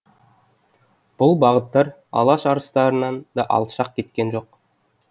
бұл бағыттар алаш арыстарынан да алшақ кеткен жоқ